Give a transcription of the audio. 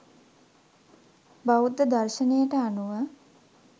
බෞද්ධ දර්ශණයට අනුව